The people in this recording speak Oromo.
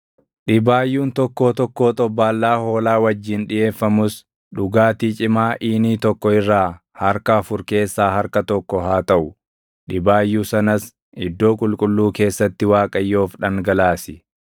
Dhibaayyuun tokkoo tokkoo xobbaallaa hoolaa wajjin dhiʼeeffamus dhugaatii cimaa iinii tokko irraa harka afur keessaa harka tokko haa taʼu; dhibaayyuu sanas iddoo qulqulluu keessatti Waaqayyoof dhangalaasi.